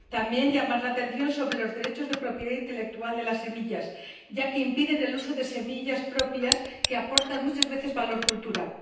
también llamar la atención sobre los derechos de propiedad intelectual de las semillas, ya que se impide el uso de semillas propias que aportan muchas veces valor cultural.